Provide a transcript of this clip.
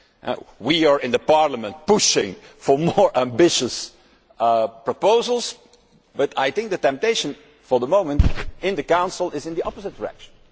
In Parliament, we are pushing for more ambitious proposals, but I think the temptation for the moment in the Council is in the opposite direction.